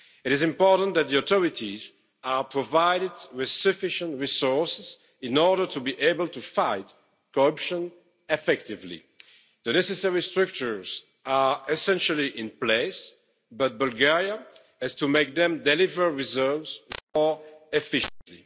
It is important that the authorities are provided with sufficient resources in order to be able to fight corruption effectively. The necessary strictures are essentially in place, but Bulgaria has to make them deliver reserves more efficiently.